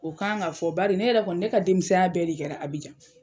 O kan ŋa fɔ bari ne yɛrɛ kɔni ne ka denmisɛnya bɛɛ de kɛra Abidjan.